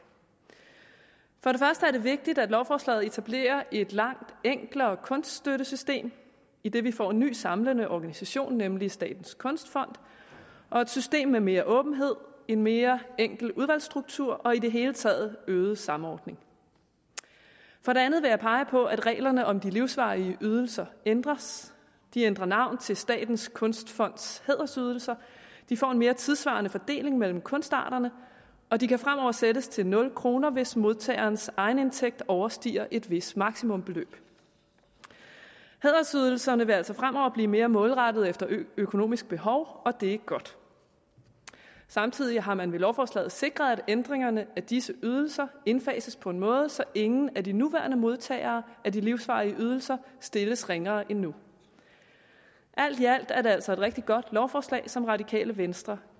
for det første er det vigtigt at lovforslaget etablerer et langt enklere kunststøttesystem idet vi får en ny samlende organisation nemlig statens kunstfond og et system med mere åbenhed en mere enkel udvalgsstruktur og i det hele taget øget samordning for det andet vil jeg pege på at reglerne om de livsvarige ydelser ændres de ændrer navn til statens kunstfonds hædersydelser vi får en mere tidssvarende fordeling mellem kunstarterne og de kan fremover sættes til nul kr hvis modtagerens egenindtægt overstiger et vist maksimumbeløb hædersydelserne vil altså fremover blive mere målrettet efter økonomisk behov og det er godt samtidig har man med lovforslaget sikret at ændringerne af disse ydelser indfases på en måde så ingen af de nuværende modtagere af de livsvarige ydelser stilles ringere end nu alt i alt er det altså et rigtig godt lovforslag som radikale venstre